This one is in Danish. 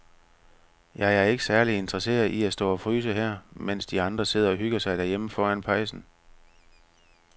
Jeg er ikke særlig interesseret i at stå og fryse her, mens de andre sidder og hygger sig derhjemme foran pejsen.